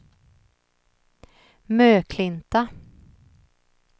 Möklinta